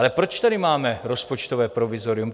Ale proč tady máme rozpočtové provizorium?